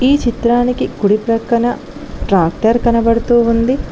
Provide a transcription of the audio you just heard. ఈ చిత్రానికి కుడి ప్రక్కన ట్రాక్టర్ కనపడుతూ ఉంది.